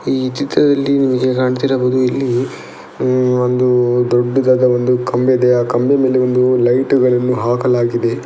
ಈ ಚಿತ್ರದಲ್ಲಿ ನಿಮಗೆ ಕಾಣ್ತಿರಬಹುದು ಇಲ್ಲಿ ಹ್ಮ್ಮ್ ಒಂದು ದೊಡ್ಡದಾದ ಒಂದು ಕಂಬ ಇದೆ ಆ ಕಂಬ ಮೇಲೆ ಒಂದು ಲೈಟ್ ಗಳನ್ನು ಹಾಕಲಾಗಿದೆ.